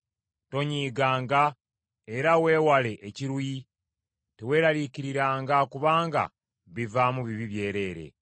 Tonyiiganga era weewale ekiruyi; teweeraliikiriranga kubanga bivaamu bibi byereere.